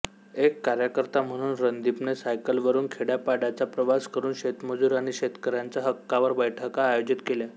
एक कार्यकर्ता म्हणून रणदीपने सायकलवरून खेड्यापाड्याचा प्रवास करून शेतमजूर आणि शेतकऱ्यांच्या हक्कांवर बैठका आयोजित केल्या